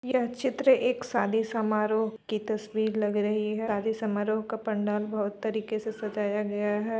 यह चित्र एक सादी समारोह की तस्वीर लग रही है। सादी समारोह का पंडाल बहोत तरीके से सजाया गया है।